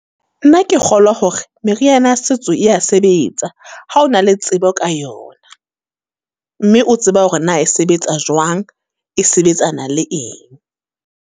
Nna ke kgolwa hore, meriana setso e ya sebetsa, ha o na le tsebo ka yona. Mme o tseba hore na e sebetsa jwang? E sebetsana le eng?